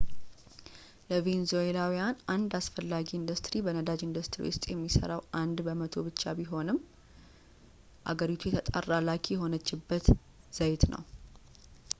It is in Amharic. ለቬንዙዌላውያን አንድ አስፈላጊ ኢንዱስትሪ በነዳጅ ኢንዱስትሪ ውስጥ የሚሠራው አንድ በመቶ ብቻ ቢሆንም አገሪቱ የተጣራ ላኪ የሆነችበት ዘይት ነው